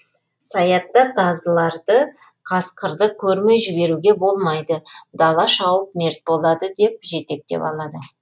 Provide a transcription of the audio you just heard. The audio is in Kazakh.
саятта тазыларды қасқырды көрмей жіберуге болмайды дала шауып мерт болады деп жетектеп алады